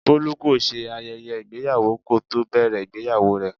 Bolu kò ṣe ayẹyẹ ìgbéyàwó kò tó bẹ̀rẹ̀ ìgbéyàwó rẹ.